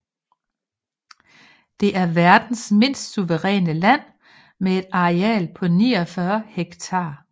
Det er verdens mindste suveræne land med et areal på 49 hektar